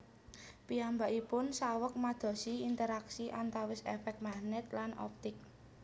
Piyambakipun saweg madosi interaksi antawis efek magnet lan optik